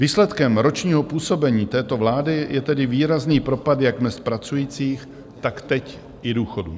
Výsledkem ročního působení této vlády je tedy výrazný propad jak mezd pracujících, tak teď i důchodů.